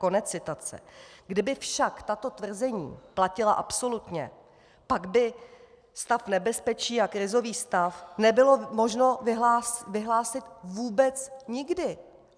Kdyby však tato tvrzení platila absolutně, pak by stav nebezpečí a krizový stav nebylo možno vyhlásit vůbec nikdy!